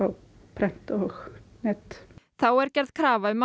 prent og net þá er gerð krafa um að